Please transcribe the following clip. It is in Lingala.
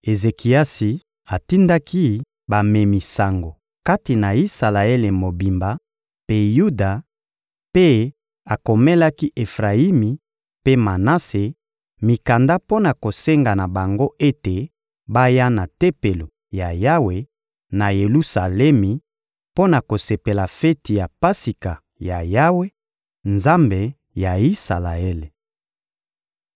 Ezekiasi atindaki bamemi sango kati na Isalaele mobimba mpe Yuda, mpe akomelaki Efrayimi mpe Manase mikanda mpo na kosenga na bango ete baya na Tempelo ya Yawe, na Yelusalemi, mpo na kosepela feti ya Pasika ya Yawe, Nzambe ya Isalaele.